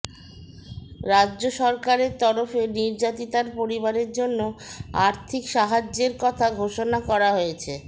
রাজ্য সরকারের তরফে নির্যাতিতার পরিবারের জন্য আর্থিক সাহায্যের কথা ঘোষণা করা হয়েছে